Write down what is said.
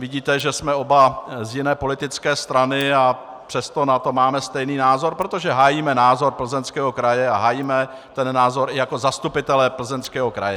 Vidíte, že jsme oba z jiné politické strany, a přesto na to máme stejný názor, protože hájíme názor Plzeňského kraje a hájíme ten názor i jako zastupitelé Plzeňského kraje.